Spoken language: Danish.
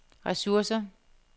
ressourcer